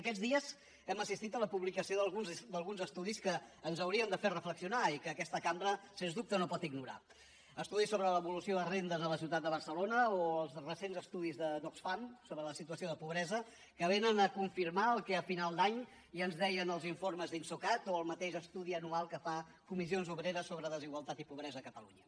aquests dies hem assistit a la publicació d’alguns estudis que ens haurien de fer reflexionar i que aquesta cambra sens dubte no pot ignorar estudis sobre l’evolució de rendes a la ciutat de barcelona o els recents estudis d’oxfam sobre la situació de pobresa que vénen a confirmar el que a final d’any ja ens deien els informes d’insocat o el mateix estudi anual que fa comissions obreres sobre desigualtat i pobresa a catalunya